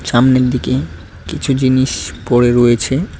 সামনের দিকে কিছু জিনিস পড়ে রয়েছে।